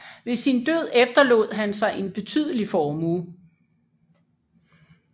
Ved sin død efterlod han sig en betydelig formue